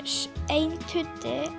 ein tuddi